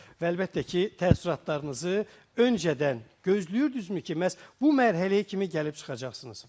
Və əlbəttə ki, təəssüratlarınızı öncədən gözləyirdinizmi ki, məhz bu mərhələyə kimi gəlib çıxacaqsınız?